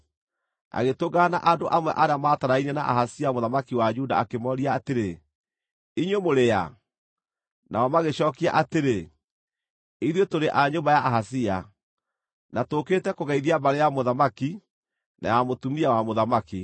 agĩtũngana na andũ amwe arĩa maatarainie na Ahazia mũthamaki wa Juda akĩmooria atĩrĩ, “Inyuĩ mũrĩ a?” Nao magĩcookia atĩrĩ, “Ithuĩ tũrĩ a nyũmba ya Ahazia, na tũũkĩte kũgeithia mbarĩ ya mũthamaki, na ya mũtumia wa mũthamaki.”